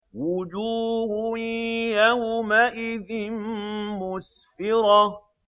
وُجُوهٌ يَوْمَئِذٍ مُّسْفِرَةٌ